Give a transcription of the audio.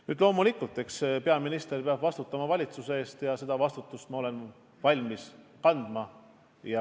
Nüüd, loomulikult, peaminister peab vastutama valitsuse eest ja seda vastutust ma olen valmis kandma.